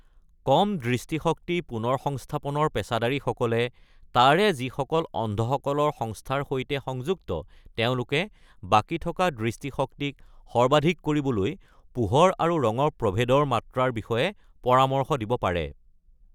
কম দৃষ্টিশক্তি পুনৰ্সংস্থাপনৰ পেছাদাৰীসকলে, তাৰে যিসকল অন্ধসকলৰ সংস্থাৰ সৈতে সংযুক্ত, তেওঁলোকে বাকী থকা দৃষ্টিশক্তিক সৰ্বাধিক কৰিবলৈ পোহৰ আৰু ৰঙৰ প্ৰভেদৰ মাত্ৰাৰ বিষয়ে পৰামৰ্শ দিব পাৰে।